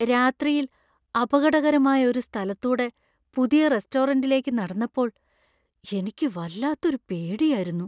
രാത്രിയിൽ അപകടകരമായ ഒരു സ്ഥലത്തൂടെ പുതിയ റെസ്റ്റോറൻ്റിലേക്ക് നടന്നപ്പോൾ എനിക്ക് വല്ലാത്തൊരു പേടിയാരുന്നു.